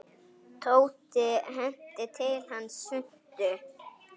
Tóti henti til hans svuntu.